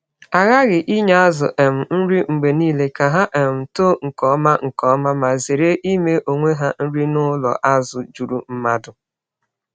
A ghaghị inye azụ um nri mgbe niile ka ha um too nke ọma nke ọma ma zere ime onwe ha nri n’ụlọ azụ juru mmadụ.